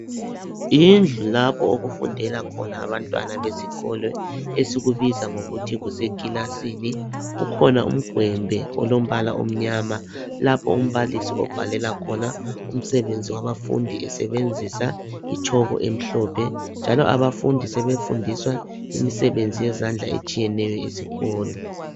Yindlu lapho okufundela khona abantwana besikolo esikubiza ngokuthi kusekilasini ukhona umgwembe olombala omnyama lapho umbalisi obhalela khona umsebenzi wabafundi esebenzisa itshoko emhlophe njalo abafundi sebefundisa imisebenzi yezandla etshiyeneyo esikolo